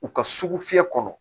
U ka sugu fiyɛ kɔnɔ